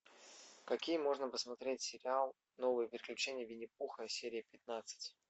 какие можно посмотреть сериал новые приключения винни пуха серия пятнадцать